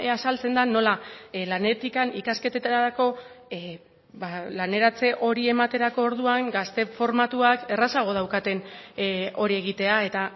azaltzen da nola lanetik ikasketetarako laneratze hori ematerako orduan gazte formatuak errazago daukaten hori egitea eta